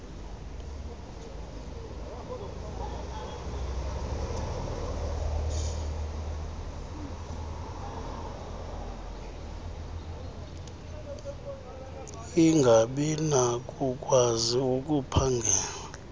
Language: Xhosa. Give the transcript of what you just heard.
angabi nakukwazi ukuphangela